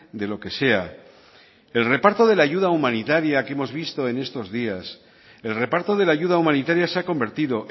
de lo que sea el reparto de la ayuda humanitaria que hemos visto en estos días el reparto de la ayuda humanitaria se ha convertido